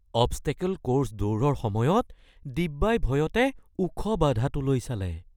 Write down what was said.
Obstacle course দৌৰৰ সময়ত দিব্যাই ভয়তে ওখ বাধাটোলৈ চালে।